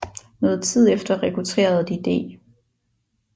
Noget tid efter rekrutterede de D